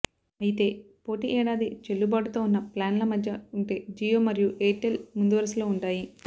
అయితే పోటీ ఏడాది చెల్లుబాటుతో ఉన్న ప్లాన్ ల మధ్య ఉంటే జియో మరియు ఎయిర్టెల్ ముందువరుసలో ఉంటాయి